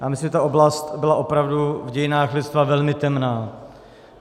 Já myslím, že ta oblast byla opravdu v dějinách lidstva velmi temná.